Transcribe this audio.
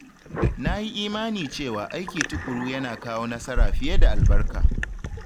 Na yi imani cewa aiki tuƙuru yana kawo nasara fiye da albarka.